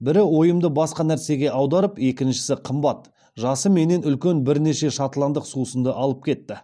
бірі ойымды басқа нәрсеге аударып екіншісі қымбат жасы менен үлкен бірнеше шотландық сусынды алып кетті